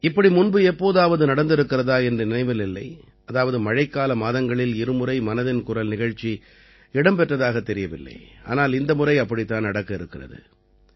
இப்படி முன்பு எப்போதாவது நடந்திருக்கிறதா என்று நினைவில் இல்லை அதாவது மழைக்கால மாதங்களில் இருமுறை மனதின் குரல் நிகழ்ச்சி இடம் பெற்றதாகத் தெரியவில்லை ஆனால் இந்த முறை அப்படித்தான் நடக்க இருக்கிறது